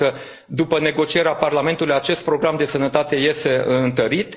Iată că după negocierea Parlamentului, acest program de sănătate iese întărit.